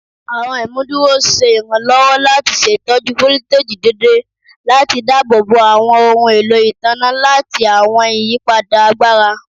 Awọn imuduro ṣe iranlọwọ lati ṣetọju foliteji deede lati daabobo awọn ohun elo itanna lati awọn iyipada agbara